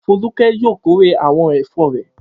Folúkẹ́ yóò kórè àwọn ẹ̀fọ́ rẹ̀.